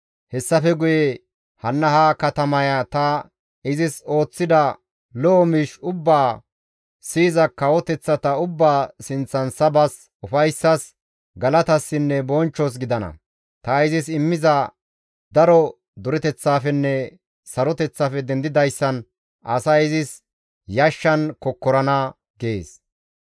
Hessafe guye hanna ha katamaya ta izis ooththida lo7o miish ubbaa siyiza kawoteththata ubbaa sinththan sabas, ufayssas, galatasinne bonchchos gidana; ta izis immiza daro dureteththaafenne saroteththafe dendidayssan asay izis yashshan kokkorana» gees.